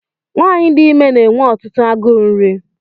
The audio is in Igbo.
Nwaanyị dị ime na-enwe ọtụtụ agụụ nri.